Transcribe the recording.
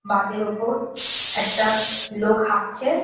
বাধের ওপর একটা লোক হাটছে।